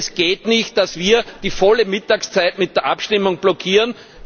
Es geht nicht, dass wir die volle Mittagszeit mit der Abstimmung blockieren.